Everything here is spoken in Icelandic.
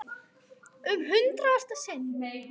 Um hundrað sagði hann.